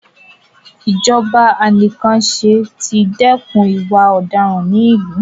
Ijọba anìkànpàṣẹ ti dẹ́kun ìwà ọ̀daràn ní ìlú.